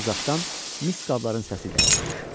Uzaqdan mis qabların səsi gəlirdi.